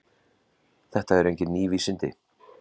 Þetta eru engin ný vísindi.